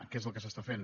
què és el que s’està fent